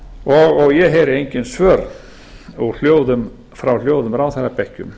og ég heyri engin svör frá hljóðum ráðherrabekkjum